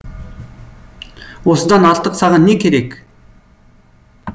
осыдан артық саған не керек